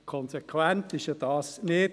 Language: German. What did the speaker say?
Konsequent ist das ja nicht.